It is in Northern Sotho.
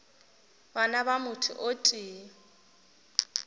bana ba motho o tee